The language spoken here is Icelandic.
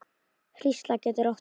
Hrísla getur átt við